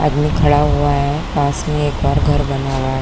आदमी खड़ा हुआ है पास में एक और घर बना हुआ है।